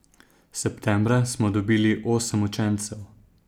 Septembra smo dobili osem učencev.